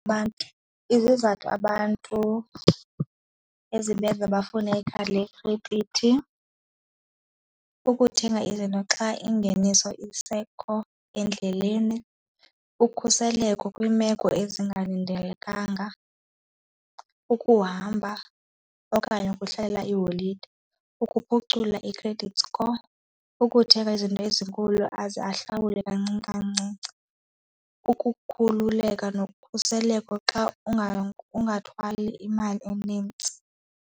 Abantu, izizathu abantu ezibenza bafune ikhadi lekhredithi, ukuthenga izinto xa ingeniso isekho endleleni, ukhuseleko kwiimeko ezingalindelekanga, ukuhamba okanye ukuhlalela iiholide, ukuphucula i-credit score, ukuthenga izinto ezinkulu aze ahlawule kancinci kancinci, ukukhululeka nokhuseleko xa ungathwali imali enintsi.